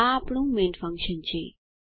આ આપણું main function છે